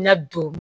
Na don